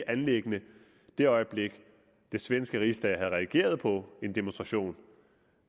anliggende i det øjeblik at den svenske rigsdag havde reageret på en demonstration